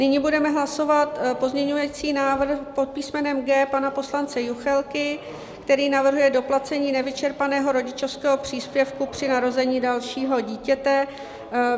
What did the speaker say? Nyní budeme hlasovat pozměňovací návrh pod písmenem G pana poslance Juchelky, který navrhuje doplacení nevyčerpaného rodičovského příspěvku při narození dalšího dítěte.